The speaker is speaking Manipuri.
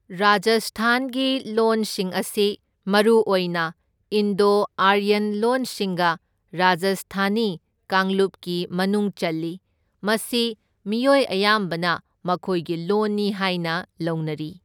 ꯔꯥꯖꯁꯊꯥꯟꯒꯤ ꯂꯣꯟꯁꯤꯡ ꯑꯁꯤ ꯃꯔꯨꯑꯣꯏꯅ ꯏꯟꯗꯣ ꯑꯥꯔꯌꯟ ꯂꯣꯟꯁꯤꯡꯒꯤ ꯔꯥꯖꯁꯊꯥꯅꯤ ꯀꯥꯡꯂꯨꯄꯀꯤ ꯃꯅꯨꯡ ꯆꯜꯂꯤ, ꯃꯁꯤ ꯃꯤꯑꯣꯏ ꯑꯌꯥꯝꯕꯅ ꯃꯈꯣꯏꯒꯤ ꯂꯣꯟꯅꯤ ꯍꯥꯏꯅ ꯂꯧꯅꯔꯤ꯫